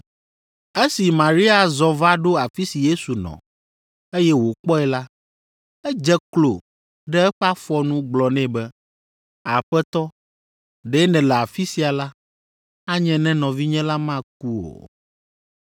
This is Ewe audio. Esi Maria zɔ va ɖo afi si Yesu nɔ, eye wòkpɔe la, edze klo ɖe eƒe afɔ nu gblɔ nɛ be, “Aƒetɔ, ɖe nèle afi sia la, anye ne nɔvinye la meku o.”